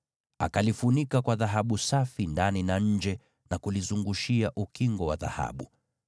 Akalifunika kwa dhahabu safi ndani na nje, na kulizungushia ukingo wa dhahabu.